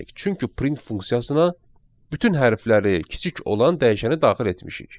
Çünki print funksiyasına bütün hərfləri kiçik olan dəyişəni daxil etmişik.